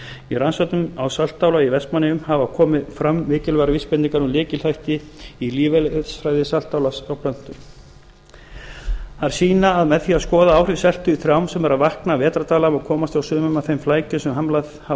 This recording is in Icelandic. í rannsóknum á saltálagi í vestmannaeyjum hafa komið fram mikilvægar vísbendingar um lykilþætti í lífeðlisfræði saltálags í plöntum þær sýna að með því að skoða áhrif seltu í trjám sem eru að vakna af vetrardvala má komast hjá sumum af þeim flækjum sem hamlað hafa